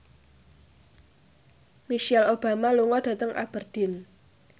Michelle Obama lunga dhateng Aberdeen